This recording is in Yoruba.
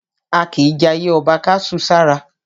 A kìí jayé ọba ká su sára.